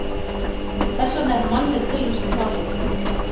Þess vegna er mannleg tilvist sársaukafull.